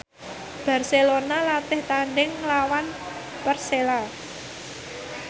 Barcelona latih tandhing nglawan Persela